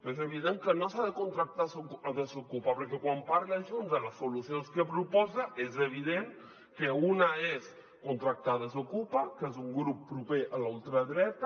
és evident que no s’ha de contractar desokupa perquè quan parla junts de les solucions que proposa és evident que una és contractar desokupa que és un grup proper a la ultradreta